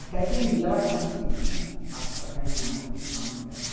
Até que um dia ela conseguiu, ela passou a ganhar o que os homens ganhavam.